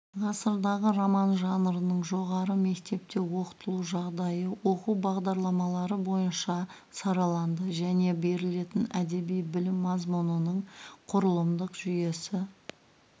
ғасырдағы роман жанрының жоғары мектепте оқытылу жағдайы оқу бағдарламалары бойынша сараланды және берілетін әдеби білім мазмұнының құрылымдық жүйесі